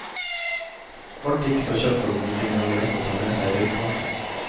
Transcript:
Alt gikk så kjapt at han ikke engang rakk å ta med seg røykpakken.